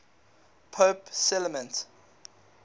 pope clement